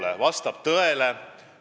See vastab tõele.